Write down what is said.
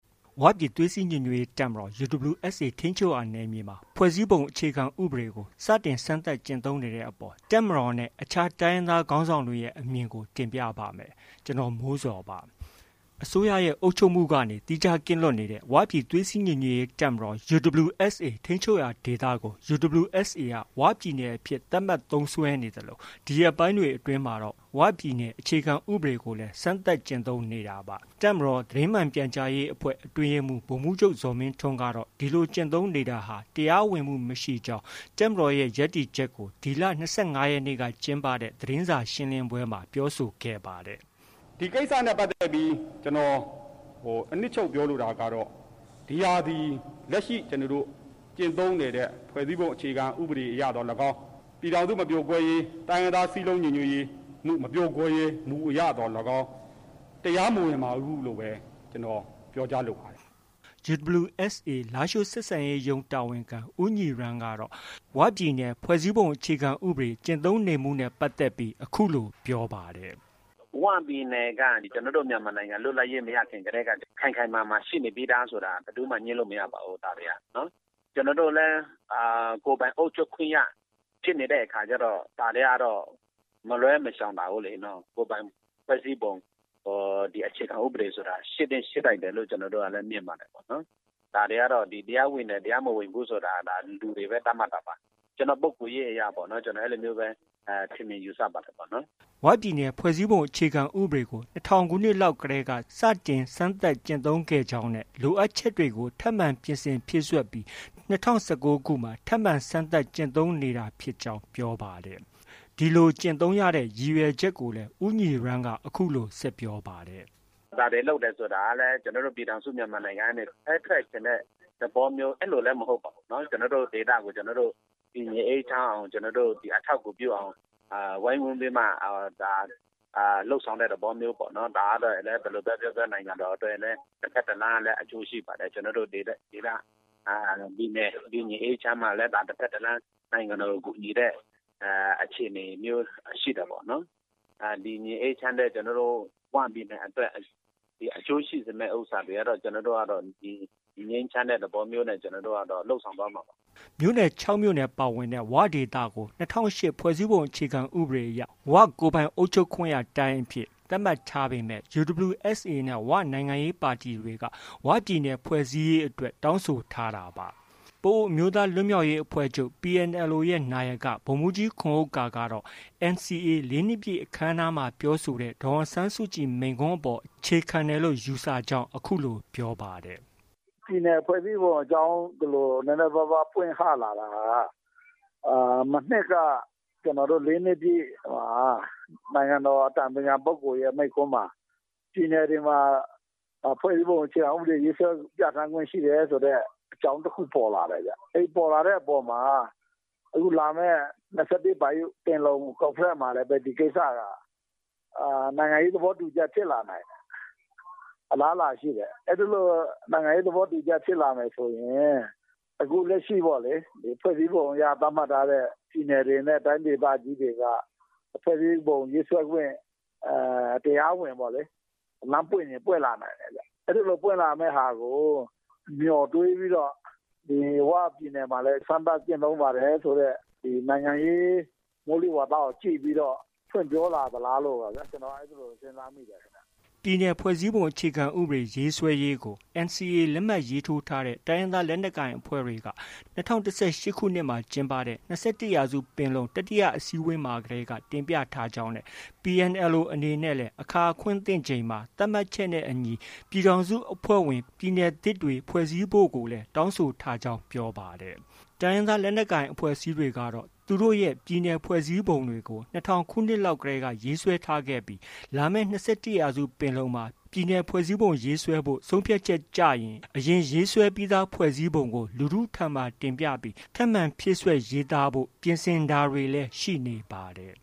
ဝပြည်သွေးစည်းညီညွှတ်ရေးတပ်မတော် UWSA ထိန်းချုပ်နယ်မြေမှာ ဖွဲ့စည်းပုံအခြေခံဥပဒေကို စတင်စမ်းသပ်ကျင့်သုံးနေတဲ့အပေါ် တပ်မတော်နဲ့ အခြားတိုင်းရင်းသားခေါင်းဆောင်တွေရဲ့အမြင်ကို ဗွီအိုအေမြန်မာပိုင်းသတင်းထောက် ကိုမိုးဇော်က တင်ပြပေးပါမယ်။ အစိုးရရဲ့ အုပ်ချုပ်မှုကနေ သီးခြားကင်းလွတ်နေတဲ့ ဝပြည်သွေးစည်းညီညွှတ်ရေးတပ်မတော် UWSA ထိန်းချုပ်ရာဒေသကို UWSA က ဝပြည်နယ်အဖြစ် သတ်မှတ်သုံးစွဲနေသလို ဒီရက်ပိုင်းတွေအတွင်းမှာတော့ ဝပြည်နယ် အခြေခံဥပဒေကိုလည်း စမ်းသပ်ကျင့်သုံးနေတာပါ။ တပ်မတော် သတင်းမှန်ပြန်ကြားရေးအဖွဲ့ အတွင်းရေးမှူးဗိုလ်မှုးချုပ် ဇော်မင်းထွန်းကတော့ ဒီလို ကျင့်သုံးနေတာဟာ တရားဝင်မှု မရှိကြောင်း တပ်မတော်ရဲ့ ရပ်တည်ချက်ကို ဒီလ ၂၅ ရက်နေ့က ကျင်းပတဲ့ သတင်းစာရှင်းလင်းပွဲမှာ ပြောဆိုခဲ့ပါတယ်။ “ဒီကိစ္စနဲ့ပတ်သက်ပြီး ကျနော် အနှစ်ချုပ် ပြောလိုတာကတော့ ဒီဟာသည် လက်ရှိ ကျနော်တို့ ကျင့်သုံးနေတဲ့ ဖွဲ့စည်းပုံအခြေခံဥပဒေသော်လည်းကောင်း၊ ပြည်ထောင်စုမပြိုကွဲရေး၊ တိုင်းရင်းသား စည်းလုံးညီညွှတ်မှု မပြိုကွဲမှု မပြိုကွဲရေးမူအရသော်လည်းကောင်း တရားမဝင်ပါဘူးလို့ဘဲ ကျနော် ပြောကြားလိုပါတယ်။” UWSA လားရှိုးဆက်ဆံရေးရုံး တာဝန်ခံ ဦးညီရန်းကတော့ ဝပြည်နယ် ဖွဲ့စည်းပုံအခြေခံဥပဒေကျင့်သုံးနေမှုနဲ့ ပတ်သက်ပြီး အခုလို ပြောပါတယ်။ “ဝပြည်နယ်က ကျနော်တို့ မြန်မာနိုင်ငံ လွတ်လပ်ရေး မရခင်ကတည်းက ခိုင်ခိုင်မာမာ ရှိနေပြီးသားဆိုတာ ဘယ်သူမှ ငြင်းလို့ မရပါဘူး။ ကျနော်တို့လည်း ကိုယ်ပိုင်အုပ်ချုပ်ခွင့်ရ ဖြစ်နေတဲ့အခါကျတော့ ဒါတွေကတော့ မလွဲမရှောင်သာဘူးလေ။ ကိုယ်ပိုင်ဖွဲ့စည်းပုံ အခြေခံဥပဒေဆိုတာ ရှိသင့်ရှိထိုက်တယ်လို့လည်း မြင်ပါတယ်။ တရားဝင်တယ်၊ တရားမဝင်ဘူးဆိုတာ လူတွေက လူတွေပဲ သတ်မှတ်တာပါ။ ကျနော့ပုဂ္ဂိုလ်ရေးအရပေါ့။ ကျနော် အဲလိုမျိုးပဲ ထင်မြင်ယူဆပါတယ်။” ၀ ပြည်နယ် ဖွဲ့စည်းပုံအခြေခံဥပဒေကို ၂၀၀၀ ခုနှစ်လောက်တည်းက စတင်စမ်းသပ်ကျင့်သုံးခဲ့ကြောင်း၊ လိုအပ်ချက်တွေကို ထပ်မံပြင်ဆင်ဖြည့်စွက်ပြီး ၂၀၁၉ မှာ ထပ်မံ စမ်းသပ်ကျင့်သုံးနေကြောင်း ပြောပါတယ်။ ဒီလို ကျင့်သုံးရတဲ့ ရည်ရွယ်ချက်ကိုလည်း ဦးညီရန်းက အခုလို ဆက်ပြောပါတယ်။ “ဒါတွေ လုပ်တယ်ဆိုတာကလည်း ကျနော်တို့ ပြည်ထောင်စုမြန်မာနိုင်ငံကနေ ခွဲထွက်ချင်တဲ့ သဘောမျိုး အဲလိုလည်း မဟုတ်ပါဘူး။ ကျနော်တို့ ဒေသကို ကျနော်တို့ တည်ငြိမ်အေးချမ်းအောင်၊ အထောက်အကူပြုအောင် ဝိုင်းဝန်းပြီးမှ လုပ်ဆောင်တဲ့သဘောမျိုးပေါ့။ ဒါကတော့ ဘယ်လိုပဲပြောပြော နိုင်ငံတော်အတွက်လည်း တဘက်တလမ်းက အကျိုးရှိပါတယ်။ ကျနော်တို့ ဒေသ၊ ပြည်နယ် တည်ငြိမ်အေးချမ်းမှလည်း တစ်ဘက်တစ်လမ်း နိုင်ငံတော်ကို ကူညီတဲ့ အခြေအနေမျိုးရှိတာပေါ့နော်။ တည်ငြိမ်အေးချမ်းတဲ့ ဝပြည်နယ်အတွက် အကျိုးရှိစေမယ့် ဥစ္စာတွေကတော့ ကျနော်တို့က ငြိမ်းချမ်းတဲ့ သဘောမျိုးနဲ့ လုပ်ဆောင်သွားမှာပါ။” မြို့နယ် ၆မြို့နယ် ပါဝင်တဲ့ ဝဒေသကို ၂၀၀၈ဖွဲ့စည်းပုံအရ ကိုယ်ပိုင်အုပ်ချုပ်ခွင့်ရတိုင်းအဖြစ် သတ်မှတ်ထားပေမဲ့ UWSA နဲ့ ဝနိုင်ငံရေးပါတီတွေက ဝပြည်နယ် ဖွဲ့စည်းရေးအတွက်တောင်းဆိုထားတာပါ။ ပအိုဝ်းအမျိူးသား လွတ်မြောက်ရေးအဖွဲ့ချုပ် PNLO ရဲ့ နာယက ဗိုလ်မှူးကြီးခွန်ဥက္ကာကတော့ NCA ၄နှစ်ပြည့်အခမ်းအနားမှာပြောဆိုခဲ့တဲ့ ဒေါ်အောင်ဆန်းစုကြည် မိန့်ခွန်းအပေါ် အခြေခံတယ်လို့ ယူဆကြောင်း အခုလို ပြောပါတယ်။ "ပြည်နယ်ဖွဲ့စည်းပုံအကြောင်း ဒီလိုမျိုးပွင့်ဟလာတာဟာ မနှစ်က ကျနော်တို့ ၄ နှစ်ပြည့် နိုင်ငံတော်အတိုင်ပင်ခံပုဂ္ဂိုလ်ရဲ့ မိန့်ခွန်းမှာ ပြည်နယ်တွေမှာ ဖွဲ့စည်းပုံအခြေခံဥပဒေ ရေးဆွဲပြဌာန်းခွင့်ရှိတယ်ဆိုတဲ့ အကြောင်းတစ်ခု ပေါ်လာတဲ့ဗျ။ အဲဒီ ပေါ်လာတဲ့အပေါ်မှာ အခုလာမယ် ၂၁ ပင်လုံ ကွန်ဖရင့်မှာလည်း ဒီကိစ္စက နိုင်ငံရေးသဘောတူညီချက် ဖြစ်လာနိုင်တယ်။ အလားအလာရှိတယ်။ အဲလို နိုင်ငံရေး သဘောတူညီချက် ဖြစ်လာမယ်ဆိုရင် အခုလက်ရှိ ဖွဲ့စည်းပုံအရ သတ်မှတ်ထားတဲ့ ပြည်နယ်တွေနဲ့ တိုင်းဒေသကြီးတွေက ဖွဲ့စည်းပုံရေးဆွဲခွင့် တရားဝင် လမ်းပွင့်ချင်ပွင့်လာနိုင်တယ်ခင်ဗျ။ အဲဒီလို ပွင့်လာမယ့် ဟာကို မျှော်တွေးပြီးတော့ ဝပြည်နယ်မှာလည်း စမ်းသပ်ကျင့်သုံးပါတယ်ဆိုတဲ့ နိုင်ငံရေး မိုးလေဝသကို ကြည့်ပြီးတော့ ဖွင့်ပြောလာသလားလို့ ကျနော်က အဲလို စဉ်းစားမိတယ်။” NCA အပစ်ရပ်စာချုပ် လက်မှတ် ရေးထိုးထားတဲ့ တိုင်းရင်းသားလက်နက်ကိုင်အဖွဲ့တွေက ၂၀၁၈ ခုနှစ်မှာ ကျင်းပခဲ့တဲ့ ၂၁ ရာစုပင်လုံ တတိယအစည်းအဝေးမှာတည်းက တင်ပြထားကြောင်းနဲ့ PNLO အနေနဲ့ လည်းအခါ အခွင့် သင့်ချိန်မှာ သတ်မှတ်ချက်နဲ့အညီ ပြည်ထောင်စုအဖွဲ့ဝင် ပြည်နယ်သစ်တွေ ဖွဲ့စည်းဖို့ကိုလည်း တောင်းဆိုထားကြောင်း ပြောပါတယ်။ တိုင်းရင်းသားလက်နက်ကိုင်အဖွဲ့အစည်းတွေကတော့ သူတို့ရဲ့ ပြည်နယ်ဖွဲ့စည်းပုံတွေကို ၂၀၀၀ ခုနှစ်လောက်ကတည်းက ရေးဆွဲခဲ့ကြပြီး လာမယ့် ၂၁ ရာစုပင်လုံမှာ ပြည်နယ်ဖွဲ့စည်းပုံရေးဆွဲဖို့ ဆုံးဖြတ်ချက် ကျရင် အရင်ရေးဆွဲပြီးသားဖွဲ့စည်းပုံကို လူထုဆီမှာ တင်ပြပြီး ပြင်ဆင် ဖြည့်စွက် ရေးဆိုကြဖို့ ပြင်ဆင်တာတွေ ရှိနေပါတယ်